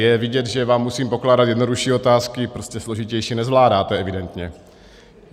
Je vidět, že vám musím pokládat jednodušší otázky, prostě složitější nezvládáte evidentně.